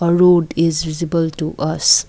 a road is visible to us.